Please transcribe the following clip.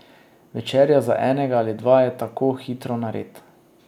Večerja za enega ali dva je tako hitro nared.